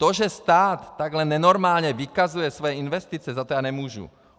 To, že stát takhle nenormálně vykazuje své investice, za to já nemůžu.